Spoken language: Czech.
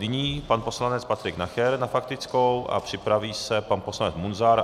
Nyní pan poslanec Patrik Nacher na faktickou a připraví se pan poslanec Munzar.